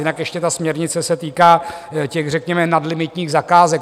Jinak ještě ta směrnice se týká těch, řekněme, nadlimitních zakázek.